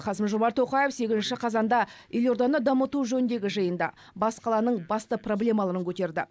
қасым жомарт тоқаев сегізінші қазанда елорданы дамыту жөніндегі жиында бас қаланың басты проблемаларын көтерді